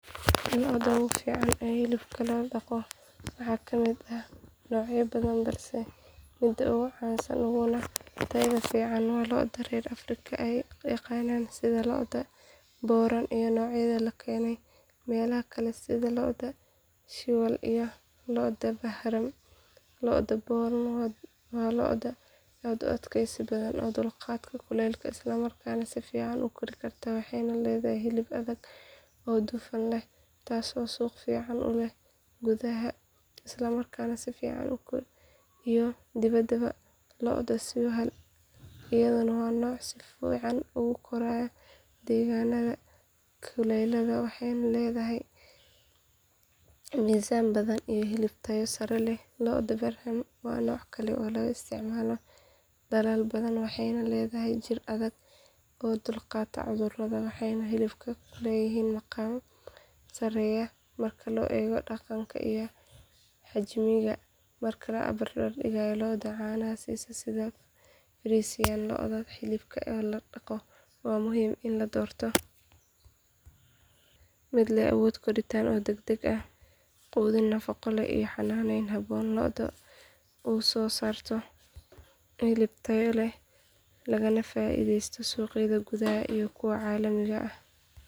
Lo’da ugu fiican ee hilibka loo dhaqo waxaa ka mid ah noocyo badan balse midka ugu caansan uguna tayada fiican waa lo’da reer afrika ay yaqaaniin sida lo’da boran iyo noocyada laga keenay meelaha kale sida lo’da sahiwal iyo lo’da brahman lo’da boran waa lo’ aad u adkaysi badan oo u dulqaata kulaylka islamarkaana si fiican u kori karta waxay leedahay hilib adag oo dufan leh taas oo suuq fiican ku leh gudaha iyo dibadda lo’da sahiwal iyaduna waa nooc si fiican ugu koraya deegaanada kulaylaha waxay leedahay miisaan badan iyo hilib tayo sare leh lo’da brahman waa nooc kale oo laga isticmaalo dalal badan waxayna leedahay jir adag oo u dulqaata cudurrada waxayna hilibkeedu leeyahay maqaam sarreeya marka la eego dhadhanka iyo xajmiga marka la barbardhigo lo’da caanaha siisa sida frisian lo’da hilibka loo dhaqo waxaa muhiim ah in la doorto mid leh awood koritaan oo degdeg ah iyo miisaan culus si dhaqaalaha laga helo uu u bato sidoo kale waxaa muhiim ah in la siiyo daaweyn joogto ah quudin nafaqo leh iyo xanaaneyn habboon si lo’daasi u soo saarto hilib tayo leh lagana faa’iideysto suuqyada gudaha iyo kuwa caalamiga ah.